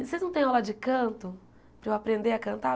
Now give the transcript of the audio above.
Vocês não têm aula de canto, para eu aprender a cantar?